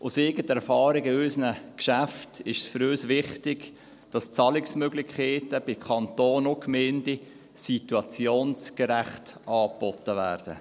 Aus eigener Erfahrung in unseren Geschäften ist es für uns wichtig, dass die Zahlungsmöglichkeiten bei Kanton und Gemeinden situationsgerecht angeboten werden.